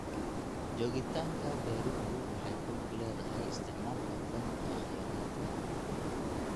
Joogitaanka beeruhu waxay ku lug leedahay isticmaalka hufan ee kheyraadka.